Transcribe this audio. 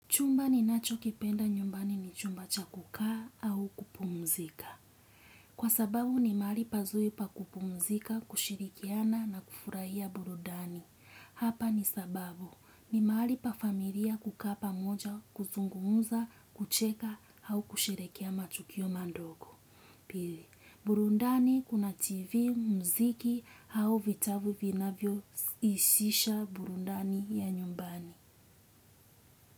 Chumba ninachokipenda nyumbani ni chumba cha kukaa au kupumzika. Kwa sababu ni mahali pazuri pa kupumzika, kushirikiana na kufurahia burudani. Hapa ni sababu ni mahali pa familia kukaa pamoja, kuzungumza, kucheka au kusherehekea matukio madogo. Pili, burudani kuna tv, muziki au vitabu vinavyo isisha burudani ya nyumbani.